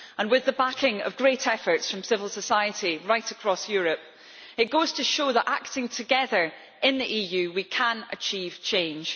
With the backing of great efforts from civil society right across Europe, it goes to show that, acting together in the EU, we can achieve change.